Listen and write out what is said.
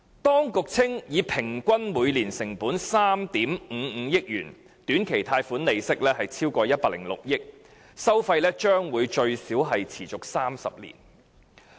當局稱短期貸款利息超過106億元，平均每年成本3億 5,500 萬元，收費將會最少持續30年。